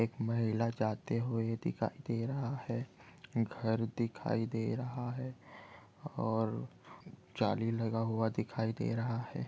एक महिला जाते हुए दिखाई दे रहा है घर दिखाई दे रहा है और जाली लगा हुआ दिखाई दे रहा है।